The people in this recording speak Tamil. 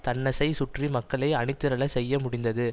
தன்னைசை சுற்றி மக்களை அணிதிரளச் செய்ய முடிந்தது